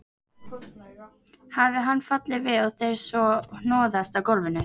Hafi hann fallið við og þeir svo hnoðast á gólfinu.